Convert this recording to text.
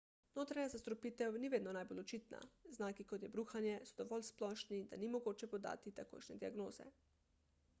notranja zastrupitev ni vedno najbolj očitna znaki kot je bruhanje so dovolj splošni da ni mogoče podati takojšnje diagnoze